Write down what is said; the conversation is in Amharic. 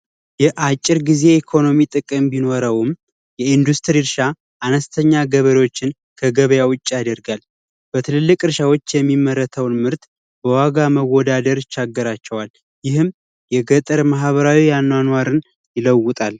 የአጭር ጊዜ የኢኮኖሚ ጥቅም ቢኖረውም የኢንዱስትሪ እርሻ አነስተኛ ገበሬዎችን ከገበያ ውጭ ያደርጋል፤ በትልልቅ እርሻዎች የሚመረተውን ምርት በዋጋ መወዳደር ይቸግራቸዋል። ይህም የገጠር ማህበራዊ አኗኗርን ይለውጣል።